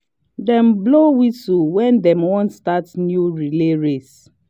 dem blow whistle when dem wan start new relay race